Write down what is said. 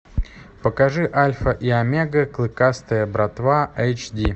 покажи альфа и омега клыкастая братва эйч ди